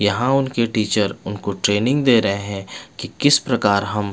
यहाँ उनके टीचर उनको ट्रेनिंग दे रहे है की किस प्रकार हम --